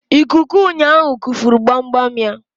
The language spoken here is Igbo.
Ikuku ụnyaahụ kufuru gbamgbam ya.